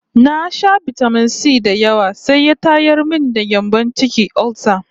Na sha bitamin-si da yawa sai ya tayar min da gyambon ciki (olsa)